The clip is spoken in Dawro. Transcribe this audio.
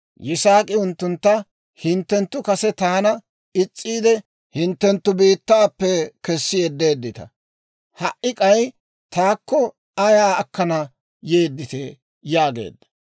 Yisaak'i unttuntta, «Hinttenttu kase taana is's'iide, hinttenttu biittaappe kessi yeddeeddita; ha"i k'ay taakko ayaa akkana yedditee?» yaageedda.